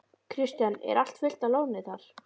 Kristján: Er allt fullt af loðnu þar?